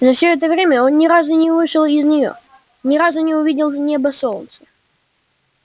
за все это время он ни разу не вышел из нее ни разу не увидел неба и солнца